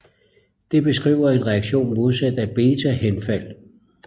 Det beskriver en reaktion modsat af betahenfald